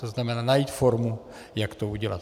To znamená najít formu, jak to udělat.